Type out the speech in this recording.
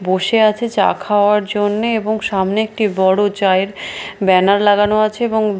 বসে আছে চা খাওয়ার জন্যে এবং সামনে একটি বড়ো চায়ের ব্যানার লাগানো আছে এবং--